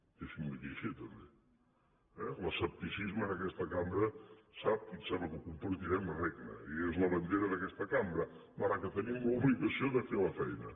deixi’m dir li ho així també eh l’escepticisme en aquesta cambra ho sap i em sembla que ho compartirem regna i és la bandera d’aquesta cambra malgrat que tenim l’obligació de fer la feina